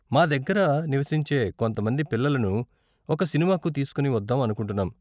మా దగ్గర నివసించే కొంత మంది పిల్లలను ఒక సినిమాకు తీసుకుని వద్దాం అనుకుంటున్నాం.